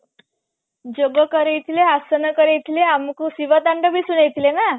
ଯୋଗ କରେଇ ଥିଲେ ଆସନ କରେଇ ଥିଲେ ଅମମକୁ ଶିବ ତାଣ୍ଡବ ବି ଶୁଣେଇ ଥିଲେ